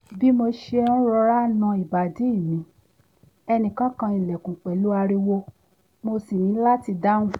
bí mo ṣe ń rọra ń na ìbàdí mi ẹnìkan kan ilẹ̀kùn pẹ̀lú ariwo mo sì ní láti dáhùn